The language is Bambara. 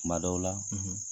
Kuma dɔw la,